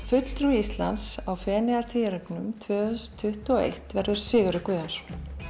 fulltrúi Íslands á Feneyjatvíæringnum tvö þúsund tuttugu og eitt verður Sigurður Guðjónsson